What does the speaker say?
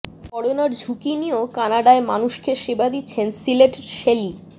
করোনার ঝুঁকি নিয়েও কানাডায় মানুষকে সেবা দিচ্ছেন সিলেটের শেলী